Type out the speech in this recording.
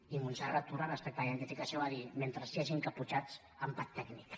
i montserrat tura respecte a la identificació va dir mentre hi hagi encaputxats empat tècnic